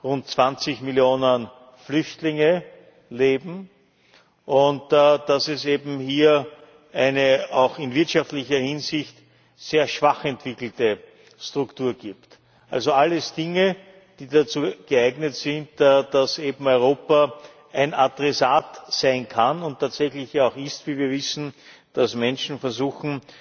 rund 20 Millionen Flüchtlinge leben und dass es eben hier eine auch in wirtschaftlicher Hinsicht sehr schwach entwickelte Struktur gibt, also alles Dinge, die dazu geeignet sind, dass eben Europa ein Adressat sein kann und tatsächlich auch ist wie wir wissen dass Menschen versuchen,